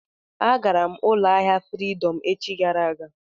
Agara m ụlọ ahịa Fridọm echi gara aga.